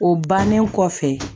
O bannen kɔfɛ